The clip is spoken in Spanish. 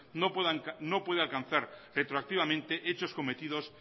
no puede alcanzar retroactivamente hechos cometidos